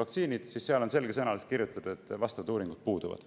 vaktsiinid, siis seal on selgesõnaliselt kirjutatud, et vastavad uuringud puuduvad.